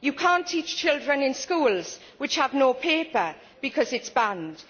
You cannot teach children in schools that have no paper because it is banned.